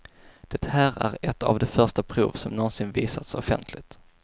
Det här är ett av de första prov som någonsin visats offentligt.